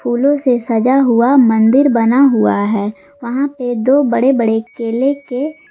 फूलों से सजा हुआ मंदिर बना हुआ है वहां पे दो बड़े बड़े केले के--